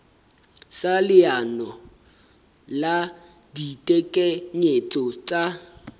sa leano la ditekanyetso tsa